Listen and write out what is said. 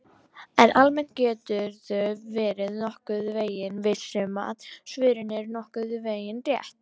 En almennt geturðu verið nokkurn veginn viss um að svörin eru nokkurn veginn rétt!